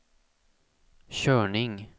körning